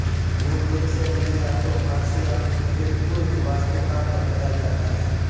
मूलरूप से उन्हें यातो फारसी या फिर तुर्क वास्तुकार बताया जाता है